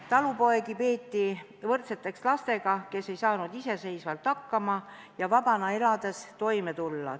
Talupoegi peeti võrdseteks lastega, kes ei saa iseseisvalt hakkama ega oska vabana elades toime tulla.